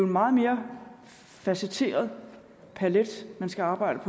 meget mere facetteret palet man skal arbejde